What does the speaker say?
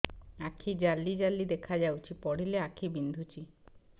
ଆଖି ଜାଲି ଜାଲି ଦେଖାଯାଉଛି ପଢିଲେ ଆଖି ବିନ୍ଧୁଛି